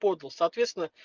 подал соответственно